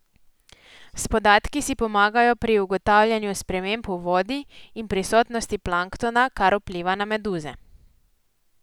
S podatki si pomagajo pri ugotavljanju sprememb v vodi in prisotnosti planktona, kar vpliva na meduze.